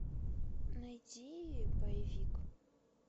найди боевик